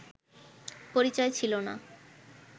পরিচয় ছিল না